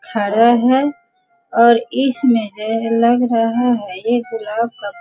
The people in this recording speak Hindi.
खड़े हैं और इसमें यह लग रहा है ये गुलाब का --